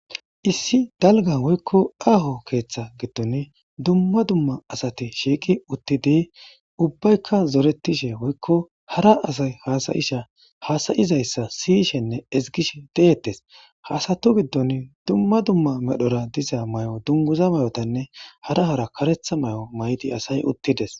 Issi dalga woyko aaho keetha gidon dumma dumma asati shiiq utid ubbayka zoretishe woyko hara asayi hasa'izaysa siyeshenne ezigishe detes, ha asatu gidoni dumma dumma medhora diza mayo dunguza mayotanne hara hara karetha mayo mayid asayi utides.